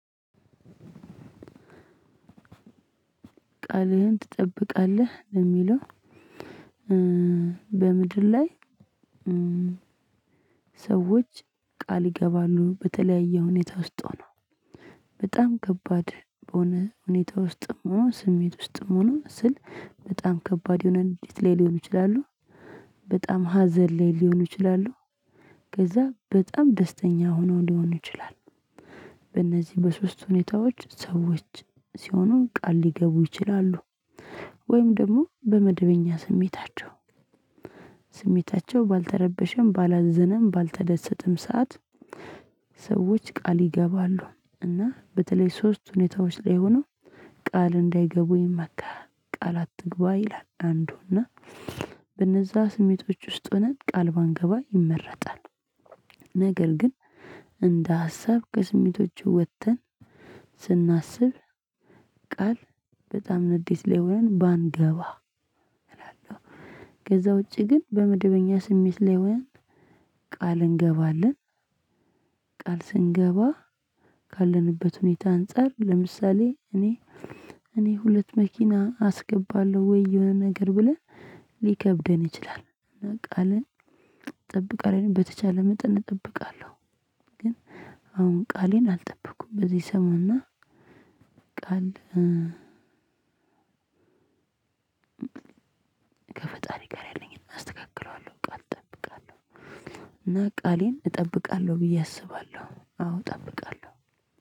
ቃልህን ትጠብቃለህ የሚለው? በምድር ላይ ሰዎች ቃል ይገባሉ በተለያየ ሁኔታ ውስጥ ሆኖ። በጣም ከባድ በሆነ ሁኔታ ውስጥም ስሜት ውስጥም ሆኖ ስል በጣም ከባድ የሆነ ንግድ ላይ ሊሆን ይችላሉ። በጣም ሀዘን ላይ ሊሆን ይችላሉ። ከዛ በጣም ደስተኛ ሆነው ሊሆኑ ይችላል። በእነዚህ በሶስት ሁኔታዎች ሰዎች ሲሆኑን ቃል ሊገቡ ይችላሉ። ወይም ደግሞ በመደበኛ ስሜታቸው ስሜታቸው ባልተረበሸም ባላዝነም ባልተደሰትም ሰዓት። ሰዎች ቃል ይገባሉ። እና በተለይ ሶስት ሁኔታዎች ላይ ሆኖ ቃል እንዳይገቡኝ ይመከራል። ቃል አትግባ ይላል አንዱና በነዛ ስሜቶች ውስጥ ሆነን ቃል ባንገባ ይመረጣል። ነገር ግን እንደ ሀሳብ ከስሜቶቹ ወጥተን ስናስብ። ቃል በጣም ንዴት ላይ ሆነን ባንገባ እላለሁ። ከዛ ውጪ ግን በመድበኛ ስሜት ላይ ሆነን ቃል እንገባለን። ቃል ስንገባ ካለንበት ሁኔታ አንፃር ለምሳሌ እኔ እኔ ሁለት መኪና አስገባለሁ ወይ የሆነ ነገር ብለን ሊከብደን ይችላል። እና ቃልን ጠብቃለሁ በተቻለ መጠን እጠብቃለሁ። ግን አሁን ቃሌን አልጠበቅኩም በዚህ ሰሞና። ቃል ከፈጣሪ ጋር ያለኝን አስተካክለዋለሁ። ቃል እጠብቃለሁ እና ቃሌን እጠብቃለሁ ብዬ አስባለሁ አዎ እጠብቃለሁ